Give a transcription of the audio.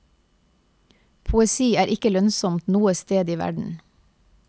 Poesi er ikke lønnsomt noe sted i verden.